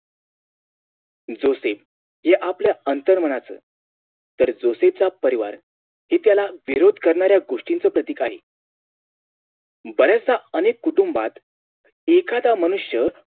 Joseph या आपल्या आंतरमनाचं तर Joseph चा परिवार हे त्यांना विरोध करणाऱ्या गोष्टींचं प्रतीक आहे बऱ्याचदा अनेक कुटुंबात एखादा मनुष्य